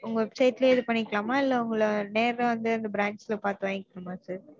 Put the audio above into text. உங்க website லயே இது பணிக்கலாமா இல்ல உங்கள நேர்ல வந்து இந்த branch ல பாத்து வாங்கிக்கணுமா sir